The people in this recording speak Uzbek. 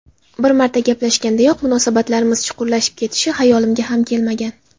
Bir marta gaplashgandayoq munosabatlarimiz chuqurlashib ketishi xayolimga ham kelmagan.